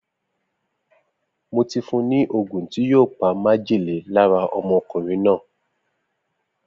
Mo ti fún ni ogún tí yíò pa oró májèlé lára ọmọkùnrin náà